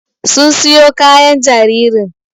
Sun siyo kayan jaririn